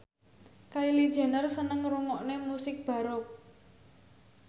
Kylie Jenner seneng ngrungokne musik baroque